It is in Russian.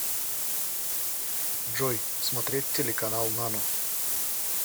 джой смотреть телеканал нано